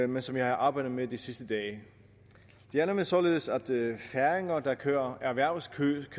men som jeg har arbejdet med de sidste dage det er nemlig således at færinger der kører erhvervskørsel